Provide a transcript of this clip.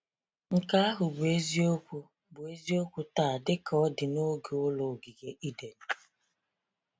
Nke ahụ bụ eziokwu bụ eziokwu taa dịka ọ dị na oge ụlọ ogige Eden.